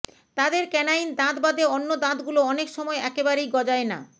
তাদের ক্যানাইন দাঁত বাদে অন্য দাঁতগুলো অনেক সময় একেবারেই গজায় না